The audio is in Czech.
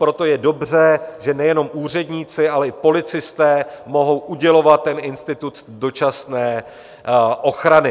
Proto je dobře, že nejenom úředníci, ale i policisté mohou udělovat ten institut dočasné ochrany.